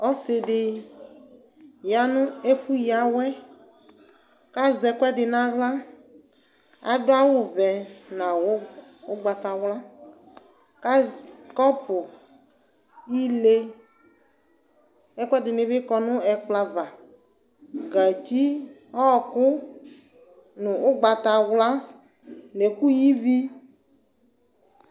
Ɔsɩ dɩ ya nʋ ɛfʋ yǝ awɛ ,azɛ ɛkʋɛdɩ n'aɣla Adʋ awʋvɛ nʋ awʋ ʋgbatawla ,kɔ kɔpʋ ile ɛkʋɛdɩnɩ bɩ kɔ nʋ ckplɔɛ ava , gatsi, ɔɔkʋ nʋ ʋgbatawla , n'ɛkʋ yǝ ivi